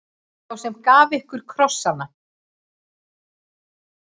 Sá sem gaf ykkur krossana.